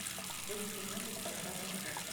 выведи мне беспощадный шторм